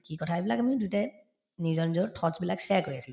কি কথা এইবিলাক আমি দুয়োটায়ে নিজৰ নিজৰ thoughts বিলাক share কৰি আছিলো